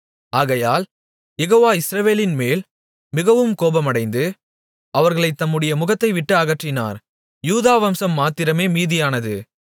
ஆகையால் யெகோவா இஸ்ரவேலின்மேல் மிகவும் கோபமடைந்து அவர்களைத் தம்முடைய முகத்தைவிட்டு அகற்றினார் யூதா வம்சம் மாத்திரமே மீதியானது